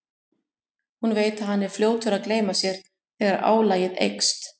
Hún veit að hann er fljótur að gleyma sér þegar álagið eykst.